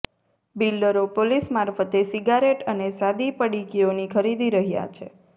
બિલ્ડરો police મારફતે cigarette અને સાદી પડીકીઓની ખરીદી રહ્યા છે